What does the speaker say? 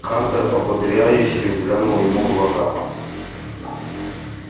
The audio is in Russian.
хантер ободряюще взглянул ему в глаза